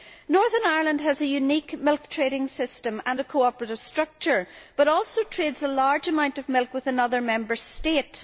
Northern Ireland has a unique milk trading system and a cooperative structure, but also trades a large amount of milk with another Member State.